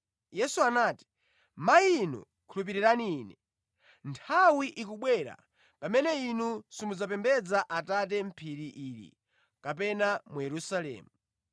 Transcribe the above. Yesu anati, “Mayi inu khulupirira Ine. Nthawi ikubwera pamene inu simudzapembedza Atate mʼphiri ili kapena mu Yerusalemu.